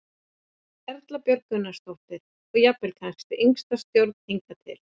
Erla Björg Gunnarsdóttir: Og jafnvel kannski yngsta stjórnin hingað til?